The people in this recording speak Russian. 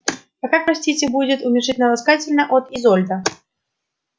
а как простите будет уменьшительно-ласкательно от изольда